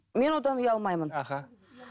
мен одан ұялмаймын аха